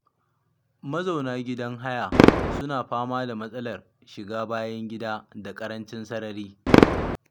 Mazauna gidan haya suna fama da matsalar shiga bayan gida da karancin sarari.